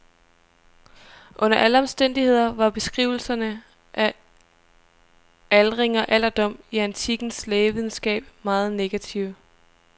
Under alle omstændigheder var beskrivelserne af aldring og alderdom i antikkens lægevidenskab meget negative.